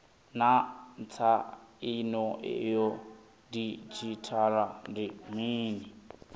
naa tsaino ya didzhithala ndi mini